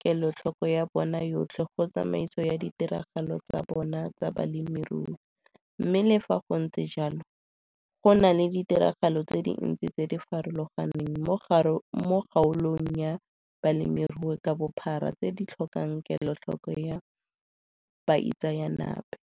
kelotlhoko ya bona yotlhe go tsamaiso ya ditiragalo tsa bona tsa bolemirui mme le fa go ntse jalo, go na le ditiragalo tse dintsi tse di farologaneng mo kgaolong ya bolemirui ka bophara tse di tlhokang kelotlhoko ya baitseanape.